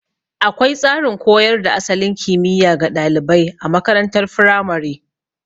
Akwai tsarin koyar da asalin kimiya ga ɗalibai a makarantar firamare.